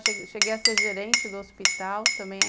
Cheguei cheguei a ser gerente do hospital também